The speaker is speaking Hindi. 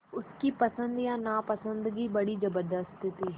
उसकी पसंद या नापसंदगी बड़ी ज़बरदस्त थी